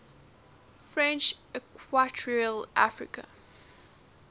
french equatorial africa